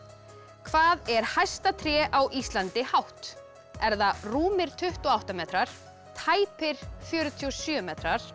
hvað er hæsta tré á Íslandi hátt er það rúmir tuttugu og átta metrar tæpir fjörutíu og sjö metrar